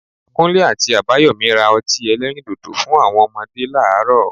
Kunle àti Abayomi ra ọtí elẹ́rìndòdò fún àwọn ọmọdé láàárọ̀